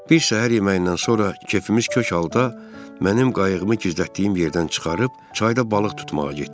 Bir şam yeməyindən sonra kefimiz kök halda mənim qayığımı gizlətdiyim yerdən çıxarıb çayda balıq tutmağa getdik.